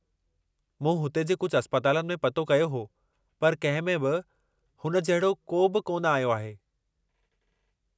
मूं हुते जे कुझु अस्पतालनि में पतो कयो हो पर कंहिं में बि हुन जहिड़ो को बि कोन आयो आहे।